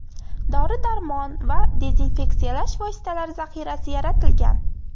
Dori-darmon va dezinfeksiyalash vositalari zaxirasi yaratilgan.